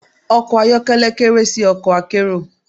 Ọkọ̀ ayọ́kẹ́lẹ́ kéré sí ọkọ̀ akérò.